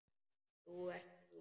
Þú ert að ljúga!